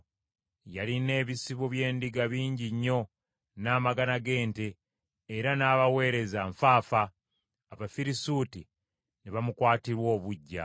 Yalina ebisibo by’endiga bingi nnyo n’amagana g’ente, era n’abaweereza nfaafa; Abafirisuuti ne bamukwatirwa obuggya.